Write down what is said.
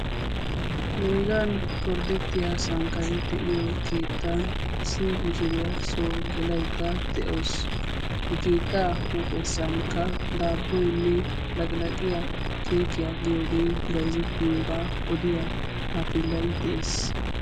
Hereegan gorddettiya sanqqani de'iyo keettan issi mishiiriyaa soo gelaydda de'awus. i keettaa huuphessankka daabboynne laqilaaqiya keekiyaa giyoogee bayzettiyoogaa odiyaa taafellay de'ees.